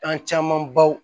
Kan caman baw